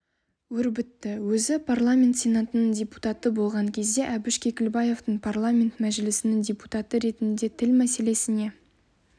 өрбітті өзі парламент сенатының депутаты болған кезде әбіш кекілбаевтың парламент мәжілісінің депутаты ретінде тіл мәселесіне